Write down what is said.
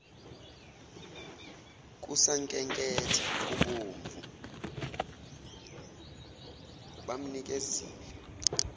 kusankenketha kubomvu bamnikezile